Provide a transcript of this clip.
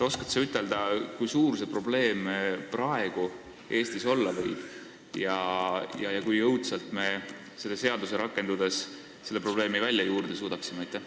Oskad sa ütelda, kui suur see probleem praegu Eestis olla võib ja kui jõudsalt me selle seaduse rakendudes selle probleemi välja juurida suudaksime?